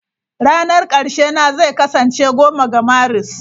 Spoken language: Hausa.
Ranar ƙarshe na zai kasance 10 ga Maris.